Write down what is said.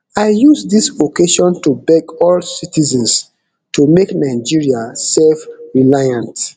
i use dis occasion to beg all citizens to make nigeria selfreliant